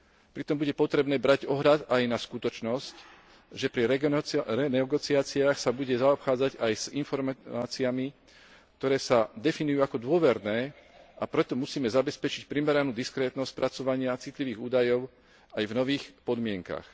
Pritom bude potrebné brať ohľad aj na skutočnosť, že pri renegociáciách sa bude zaobchádzať s informáciami, ktoré sa definujú ako dôverné, a preto musíme zabezpečiť primeranú diskrétnosť spracovania citlivých údajov aj v nových podmienkach.